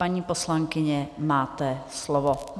Paní poslankyně, máte slovo.